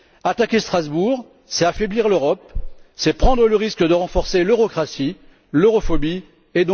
Attaquer Strasbourg, c'est affaiblir l'Europe, c'est prendre le risque de renforcer l'eurocratie, l'europhobie et donc le populisme!